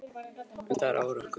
Um það er ágreiningurinn.